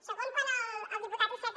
segon quan el diputat iceta